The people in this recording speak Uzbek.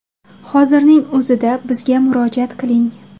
Hozirning o‘zida bizga murojaat qiling!